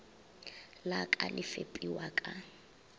la ka le fepiwa ka